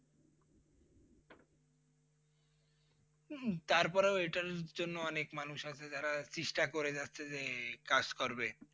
উম তারপরও এটার জন্য অনেক মানুষ আছে যারা চেষ্টা করে যাচ্ছে যে কাজ করবে।